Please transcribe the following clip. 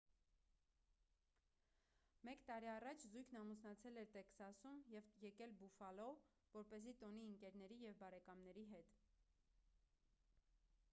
մեկ տարի առաջ զույգն ամուսնացել էր տեքսասում և եկել բուֆալո որպեսզի տոնի ընկերների և բարեկամների հետ